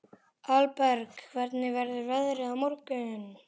Hallberg, hvernig verður veðrið á morgun?